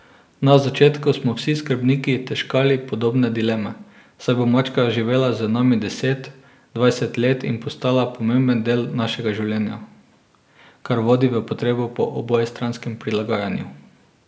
Na začetku smo vsi skrbniki težkali podobne dileme, saj bo mačka živela z nami deset, dvajset let in postala pomemben del našega življenja, kar vodi v potrebo po obojestranskem prilagajanju.